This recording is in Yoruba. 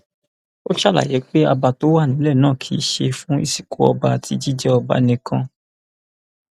ó ṣàlàyé pé àbá tó wà nílẹ náà kì í ṣe fún ìsìnkú ọba àti jíjẹ ọba nìkan